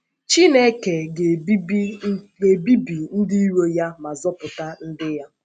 Chineke ga - ebibi ndị iro ya ma zọpụta ndị ya.